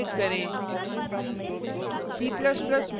और सेव पर click करें